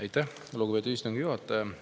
Aitäh, lugupeetud istungi juhataja!